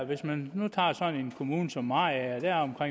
hvis man nu tager sådan en kommune som mariager